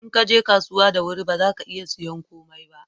in ka je kasuwa da wuri ba za ka iya sayan komai ba